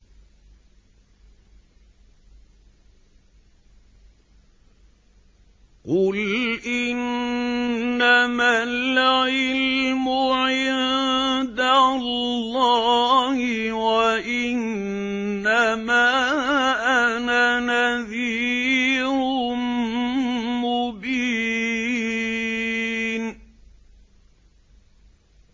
قُلْ إِنَّمَا الْعِلْمُ عِندَ اللَّهِ وَإِنَّمَا أَنَا نَذِيرٌ مُّبِينٌ